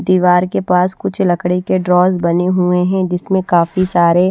दीवार के पास कुछ लकड़ी के ड्रॉज बने हुए हैं जिसमें काफी सारे--